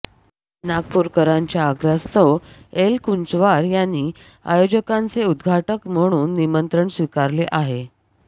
नागपूरकरांच्या आग्रहास्तव एलकुंचवार यांनी आयोजकांचे उद्घाटक म्हणून निमंत्रण स्वीकारले आहे